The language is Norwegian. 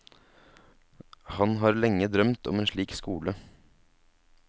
Han har lenge drømt om en slik skole.